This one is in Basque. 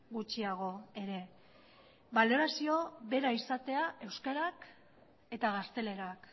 gutxiago ere balorazio bera izatea euskarak eta gaztelerak